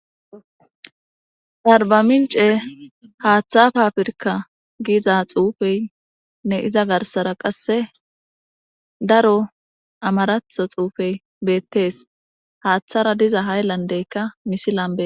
Arbamince haaththa fa pirka giiza xuufey nne iza garsara qasse daro amaratho xuufey beettees haaththara diza hayllandeykka misilambe.